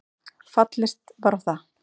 Fallist var á það